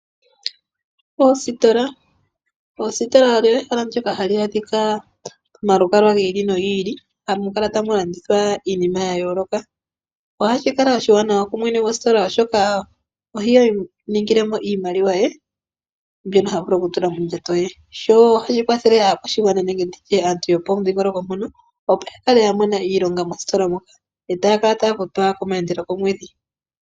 Oositola, oositola olyo ehala ndyoka hali adhika momalukalwa giili nogiili hamu kala tamu landithwa iinima ya yoloka. Ohashi kala oshiwanawa kumwene gositola oshoka ohi ningile mo iimaliwa ye mbyono ha vulu oku tula mondjato ye. Sho ohashi kwathela aakwashigwana nenge nditye aantu yo pomudhingoloko mbono opo ya kale ya mona iilonga mositola moka yo takala taya futwa komwedhi.